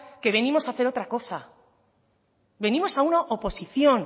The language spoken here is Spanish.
que venimos a hacer otra cosa venimos a una oposición